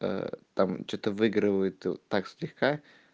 ээ там что-то выигрывают так слегка